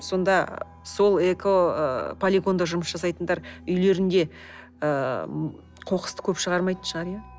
сонда сол эко ы полигонда жұмыс жасайтындар үйлерінде ііі қоқысты көп шығармайтын шығар иә